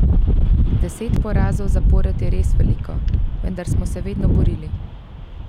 Deset porazov zapored je res veliko, vendar smo se vedno borili.